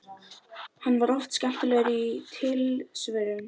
Hann var oft skemmtilegur í tilsvörum.